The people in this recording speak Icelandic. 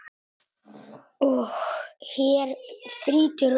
Og hér þrýtur lög.